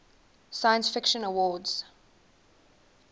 science fiction awards